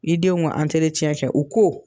I denw ka kɛ u ko